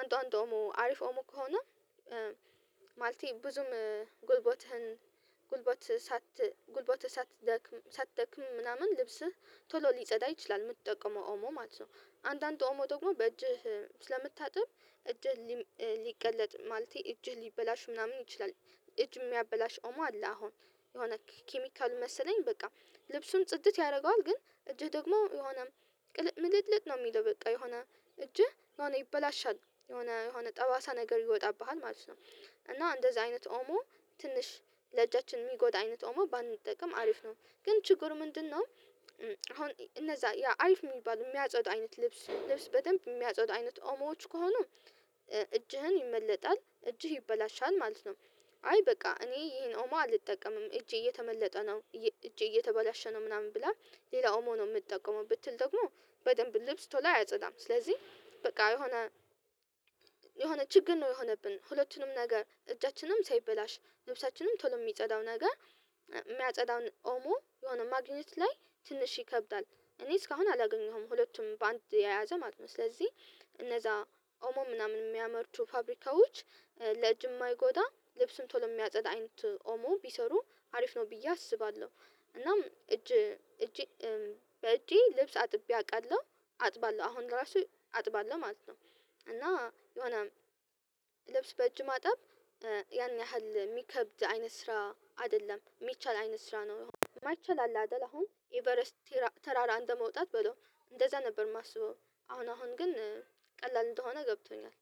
አንዳንድ ኦሞ አሪፍ ኦሞ ከሆነ ማለቴ ብዙም ጉልቦትህን ጉልቦትህ ሳት ጉልቦትህ ሳትደክም ሳትደክም ምናምን ልብስህ ቶሎ ሊጸዳ ይችላል የምትጠቀመው ኦሞ ማለት ነው። አንዳንድ ኦሞ ደግሞ በእጅህ ስለምታጥብ እጅህ ሊቀለጥ ማለቴ እጅህ ሊበላሽ ምናምን ይችላል። እጅ የሚያበላሽ ኦማ አለ አሁን የሆነ ኬሚካል መሰለኝ በቃ ልብሱን ጽድት ያደርገዋል ግን እጅህ ደግሞ የሆነ ቅል ምልጥልጥ ነው የሚለው በቃ የሆነ እጅህ የሆነ ይበላሻል የሆነ የሆነ ጠባሳ ነገር ይወጣብሃል ማለት ነው እና እንደዚህ አይነት ኦሞ ትንሽ ለእጃችን የሚጎዳ አይነት ኦሞ ባንጠቀም አሪፍ ነው ግን ችግሩ ምንድነው? እነዛ ያ አልፍ የሚባሉ የሚያጽኑ አይነት ልብስ በደንብ የሚያጽኑ አይነት ኦሞዎች ከሆኑ እጅህን ይመለጣል እጅህ ይበላሻል ማለት ነው። አይ በቃ እኔ ይሄን አሁን አልጠቀምም እጄ እየተመለጠ ነው እጄ እየተበላሸ ነው ምናምን ብላ ሌላው ኦሞ ነው የምትጠቀመው ብትል ደግሞ በደንብ ልብስ ቶሎ አያጸዳም ስለዚህ በቃ የሆነ የሆነ ችግር ነው። የሆነብን ሁለቱንም ነገ እጃችንም ሳይበላሽ ልብሳችንም ቶሎ የሚጸዳው ነገር የሚያጸዳውን ኦሞ የሆነ ማግኘት ላይ ትንሽ ይከብዳል እኔ እስካሁን አላገኘሁም ሁለቱም በአንድ የያዘ ማለት ነው። ስለዚህ እነዛ ኦሞ ምናምን የሚያመርቱ ፋብሪካዎች ለእጅ ማይጎዳ ልብስም ቶሎ የሚያጸድ አይነት ኦሞ ቢሰሩ አሪፍ ነው ብዬ አስባለሁ። እናም እጄ እጄ በእጄ ልብስ አጥቤ አቃለሁ አጥባለሁ አሁን ለራሱ አጥባለሁ ማለት ነው። እና የሆነ ልብስ በእጅ ማጣብ ያን ያህል የሚከብድ አይነት ስራ አይደለም የሚቻል አይነት ስራ ነው የማይቻል አለ አይደል አሁን ኤቨረስት አንድ መውጣት በለው እንደዛ ነበር የማስበው አሁን አሁን ግን ቀላል እንደሆነ ገብቶኛል